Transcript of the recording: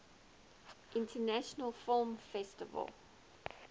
international film festival